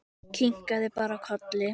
Kinkaði bara kolli.